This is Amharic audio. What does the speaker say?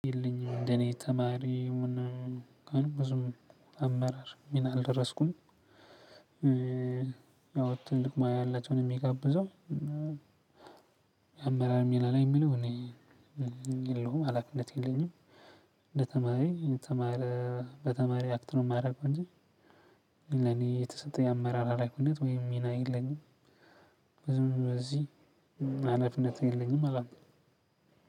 የለኝም እንደኔ ተማሪ ምናምን እንኳን ብዙም አመራር ሚና አልደረስኩም ያው ትልቅ ሙያ ያላቸውን ነው የሚጋብዘው። አመራር ሚና ላይ የሚለው እኔ የለሁም ሀላፊነት የለኝም። እንደ ተማሪ በተማሪ አክት ነው የማረገው እንጂ ለኔ የተሰጠኝ አመራር ሀላፊነት ወይም ሚና የለኝም። ብዙ በዚህ ሀላፊነት የለኝም አላምንም።